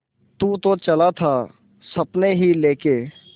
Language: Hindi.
तू तो चला था सपने ही लेके